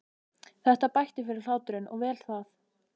Þetta bætti fyrir hláturinn og vel það.